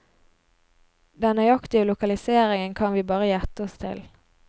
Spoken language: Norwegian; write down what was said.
Den nøyaktige lokaliseringen kan vi bare gjette oss til.